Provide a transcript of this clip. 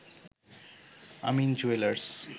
Amin jewellers